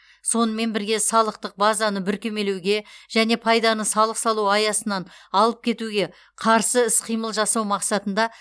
сонымен бірге салықтық базаны бүркемелеуге және пайданы салық салу аясынан алып кетуге қарсы іс қимыл жасау мақсатында